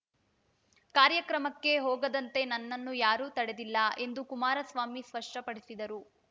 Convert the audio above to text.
ಕಾರ್ಯಕ್ರಮಕ್ಕೆ ಹೋಗದಂತೆ ನನ್ನನ್ನು ಯಾರೂ ತಡೆದಿಲ್ಲ ಎಂದು ಕುಮಾರಸ್ವಾಮಿ ಸ್ಪಷ್ಟಪಡಿಸಿದರು